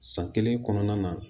San kelen kɔnɔna na